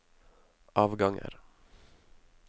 avganger